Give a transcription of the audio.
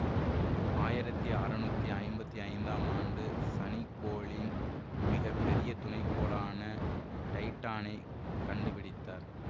ஆயிரத்தி அறுநூற்றி ஐம்பத்தி ஐந்தாம் ஆண்டூ சனி கோளின் மிக பெரிய துணைக்கோளான டைட்டானைக் கண்டுபிடித்தார்